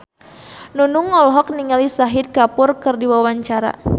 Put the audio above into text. Nunung olohok ningali Shahid Kapoor keur diwawancara